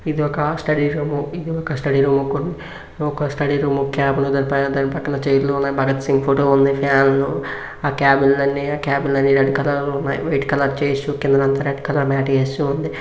ఇది ఒక study room ఇది ఒక స్టడీ రూమ్ ఒక స్టడీ రూమ్ ఉన్నాయి దాని పైన చైర్లు ఉన్నాయి భగత్ సింగ్ ఫోటో ఉంది ఫ్యాన్లు ఆ క్యాబిన్ అన్నీ క్యాబిన్ లన్ని కలర్లు ఉన్నాయి వైట్ కలర్ కింద నంత రెడ్ కలర్ మాట్ -- వేయ.